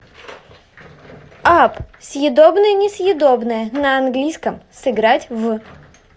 апп съедобное несъедобное на английском сыграть в